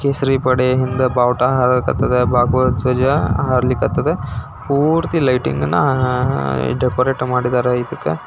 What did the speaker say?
ಕೇಸರಿ ಪಡೆ ಮುಂದೆ ಬಾವುಟ ಹಾರ್ಲಿ ಕತ್ತದ ಧ್ವಜ ಹಾರ್ಲಿ ಕತ್ತದ ಪೂರ್ತಿ ಲೈಟಿಂಗ್ ಅನ್ನ ಡೆಕೋರೇಟ್ ಮಾಡಿದ್ದಾರೆ ಇದ್ದಕ್ಕ.